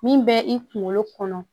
Min bɛ i kunkolo kɔnɔ